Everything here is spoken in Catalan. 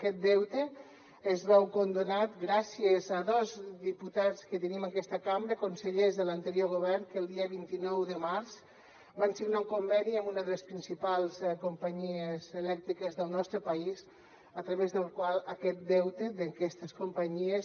aquest deute es veu condonat gràcies a dos diputats que tenim en aquesta cambra consellers de l’anterior govern que el dia vint nou de març van signar un conveni amb una de les principals companyies elèctriques del nostre país a través del qual aquest deute d’aquestes companyies